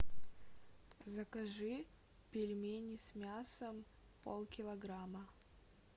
закажи пельмени с мясом полкилограмма